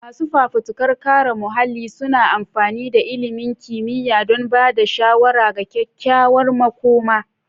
Masu fafutukar kare muhalli suna amfani da ilimin kimiyya don ba da shawara ga kyakkyawar makoma.